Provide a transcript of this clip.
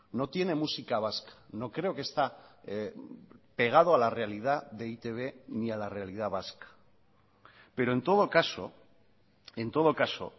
no tiene música vasca no creo que está pegado a la realidad de e i te be ni a la realidad vasca pero en todo caso en todo caso